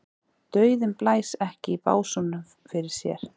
Dauðinn blæs ekki í básúnum fyrir sér.